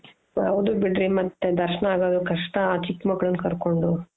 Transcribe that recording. ಹೌದು ಬಿಡ್ರಿ ಮತ್ತೆ ದರ್ಶ್ನ ಆಗೋದು ಕಷ್ಟ ಆ ಚಿಕ್ಕ ಮಕ್ಳನ್ನ ಕರ್ಕೊಂಡು .